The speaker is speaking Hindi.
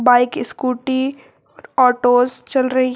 बाइक स्कूटी ऑटोस चल रही है।